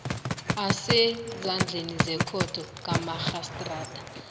asezandleni zekhotho kamarhistrada